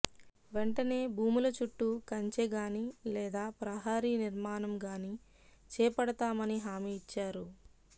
వెంటనే భుముల చుట్టూ కంచే గాని లేదా ప్రహారి నిర్మాణం గాని చేపడతామని హామీ ఇచ్చారు